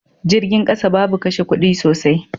Jirgin kasa babu kashe kudi sosai.